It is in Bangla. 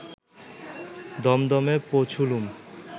দমদমে পৌঁছুলুম